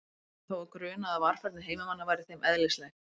Brátt fór hann þó að gruna að varfærni heimamanna væri þeim eðlislæg.